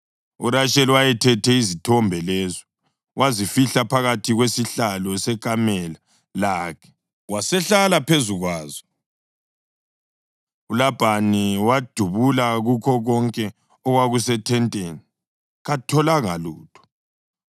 URasheli wayethethe izithombe lezo, wazifihla phakathi kwesihlalo sekamela lakhe, wasehlala phezu kwazo. ULabhani wabhudula kukho konke okwakusethenteni, katholanga lutho.